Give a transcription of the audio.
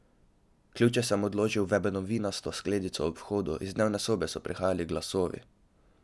Ključe sem odložil v ebenovinasto skledico ob vhodu, iz dnevne sobe so prihajali glasovi.